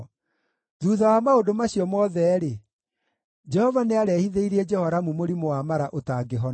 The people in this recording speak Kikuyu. Thuutha wa maũndũ macio mothe-rĩ, Jehova nĩarehithĩirie Jehoramu mũrimũ wa mara ũtangĩhona.